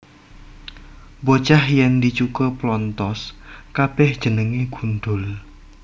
Bocah yèn dicukur plonthos kabèh jenengé gundhul